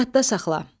Yadda saxla.